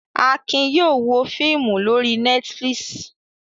Akin yóò wo fíímù lórí Netflix.